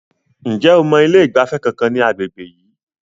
Ǹjẹ́ o mọ ilé ìgbafẹ́ kankan ní agbègbè yìí?